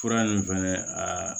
Fura nin fɛnɛ a